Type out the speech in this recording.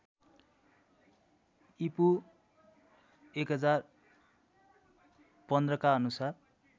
ईपू १०१५ का अनुसार